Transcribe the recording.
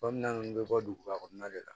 Kɔminn bɛ bɔ duguba kɔnɔna de la